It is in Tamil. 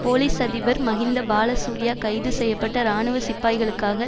போலிஸ் அதிபர் மஹிந்த பாலசூரிய கைது செய்ய பட்ட இராணுவ சிப்பாய்களுக்காக